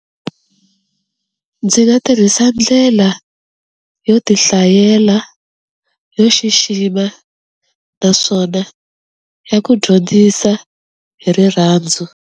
Ndzi nga tirhisa ndlela yo ti hlayela yo xixima naswona ya ku dyondzisa hi rirhandzu.